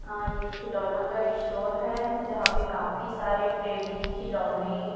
आ ये खिलौना का स्टोर है जहां पे काफी सारे टेडी खिलौने--